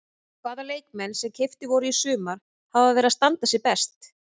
Hvaða leikmenn sem keyptir voru í sumar hafa verið að standa sig best?